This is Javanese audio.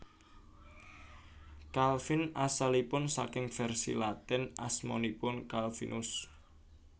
Calvin asalipun saking vèrsi Latin asmanipun Calvinus